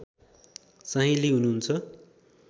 साहिँली हुनुहुन्छ